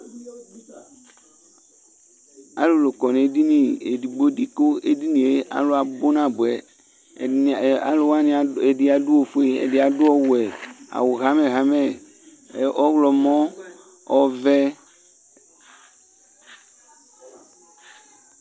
Alʋlʋ kɔ n' edini edigbo di ,kʋ edinie alʋ abʋ nabʋɛAlʋ wanɩ ɛdɩ adʋ ofue ɛdɩ adʋ ɔwɛ, awʋ hamɛ–hamɛ ɛ ɔɣlɔmɔ, ɔvɛ